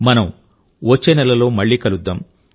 మనం వచ్చే నెలలో మళ్ళీ కలుద్దాం